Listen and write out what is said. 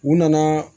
U nana